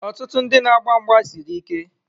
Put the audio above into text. Ọtụtụ ndị na-agba mgba siri ike.